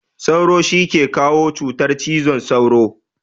Sauro shi ke kawo cutar cizon sauro.